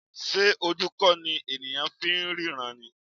Ṣé ojú kò ní ènìyàn fi ń ríran ni?